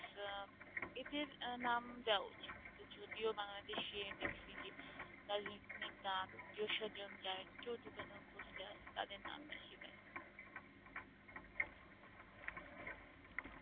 অ্যাঁ এদের অ্যাঁ নাম দেওয়া উচিত, তা যদিও বাংলাদেশে দেখছি যে রাজনৈতিক নেতা, আত্মীয়-স্বজন যারা একটু উঁচু পোস্টে আছে তাদের নাম লিখিয়ে দেন